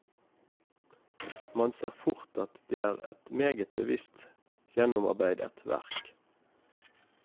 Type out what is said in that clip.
Man ser fort at det er et meget bevisst gjennomarbeidet verk.